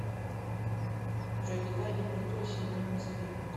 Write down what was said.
джой какая температура сегодня в москве